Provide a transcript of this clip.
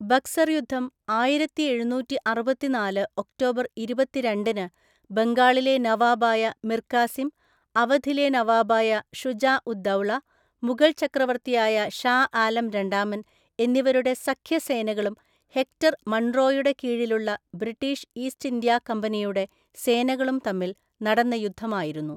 ബക്സർ യുദ്ധം ആയിരത്തിഎഴുനൂറ്റിഅറുപത്തിനാല് ഒക്ടോബർ ഇരുപത്തിരണ്ടിന് ബംഗാളിലെ നവാബായ മിർ കാസിം, അവധിലെ നവാബായ ഷുജാ ഉദ് ദൗള, മുഗൾ ചക്രവർത്തിയായ ഷാ ആലം രണ്ടാമൻ എന്നിവരുടെ സഖ്യസേനകളും ഹെക്ടർ മൺറോയുടെ കീഴിലുള്ള ബ്രിട്ടീഷ് ഈസ്റ്റ് ഇന്ത്യാ കമ്പനിയുടെ സേനകളും തമ്മിൽ നടന്ന യുദ്ധമായിരുന്നു .